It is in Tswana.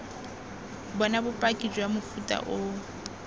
bona bopaki jwa mofuta oo